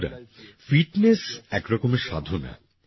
বন্ধুরা ফিটনেস একরকমের সাধনা